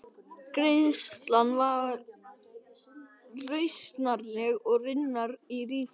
Greiðslan var rausnarleg og raunar ríflega það.